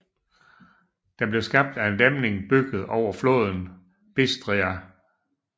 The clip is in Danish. Den blev skabt af en dæmning bygget over floden Bistrița